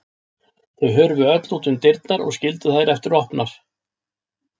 Þau hurfu öll út um dyrnar og skildu þær eftir opnar.